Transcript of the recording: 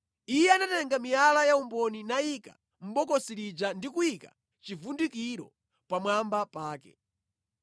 Iye anatenga miyala ya umboni nayika mʼbokosi lija ndi kuyika chivundikiro pamwamba pake.